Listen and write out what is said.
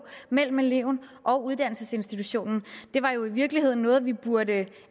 mellem eleven og uddannelsesinstitutionen det var jo i virkeligheden noget vi burde